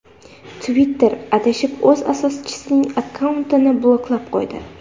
Twitter adashib o‘z asoschisining akkauntini bloklab qo‘ydi.